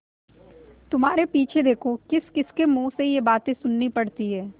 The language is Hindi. तुम्हारे पीछे देखो किसकिसके मुँह से ये बातें सुननी पड़ती हैं